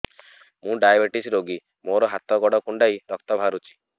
ମୁ ଡାଏବେଟିସ ରୋଗୀ ମୋର ହାତ ଗୋଡ଼ କୁଣ୍ଡାଇ ରକ୍ତ ବାହାରୁଚି